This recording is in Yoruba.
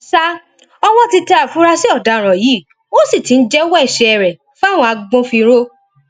sa ọwọ ti tẹ àfúrásì ọdaràn yìí ó sì ti ń jẹwọ ẹṣẹ rẹ fáwọn agbófinró